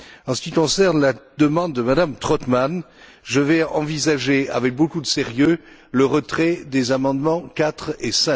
En ce qui concerne la demande de Mme Trautmann, je vais envisager, avec beaucoup de sérieux, le retrait des amendements 4 et